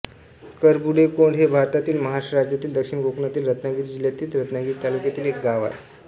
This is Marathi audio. करबुडेकोंड हे भारतातील महाराष्ट्र राज्यातील दक्षिण कोकणातील रत्नागिरी जिल्ह्यातील रत्नागिरी तालुक्यातील एक गाव आहे